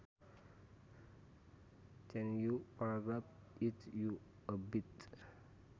Can you paragraph it out a bit